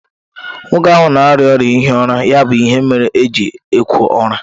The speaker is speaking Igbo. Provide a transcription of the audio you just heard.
Nwoke ahụ na-arịa ọrịa ihi ụra ya bụ ihe mere o ji ekwo úra